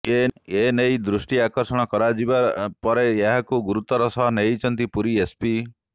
ଏନେଇ ଦୃଷ୍ଟି ଆକର୍ଷଣ କରାଯିବା ପରେ ଏହାକୁ ଗୁରୁତର ସହ ନେଇଛନ୍ତି ପୁରୀ ଏସପି